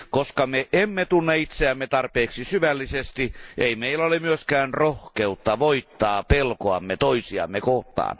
Koska emme tunne itseämme tarpeeksi syvällisesti, ei meillä ole myöskään rohkeutta voittaa pelkoamme toisiamme kohtaan.